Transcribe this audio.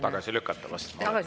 Tagasi lükata vist?